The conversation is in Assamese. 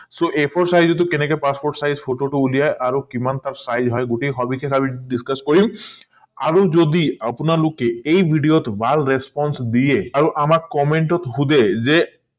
so a four size টো কনেকে passport size photo টো উলিয়াই আৰু কিমান টা size হয় গোটেই সবিশেষ আমি discuss কৰিম আৰু যদি আপোনালোকে এই video টো ভাল response দিয়ে আৰু আমাক comment ট সুধে যে